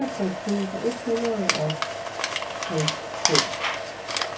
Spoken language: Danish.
enogtres tusind et hundrede og halvfems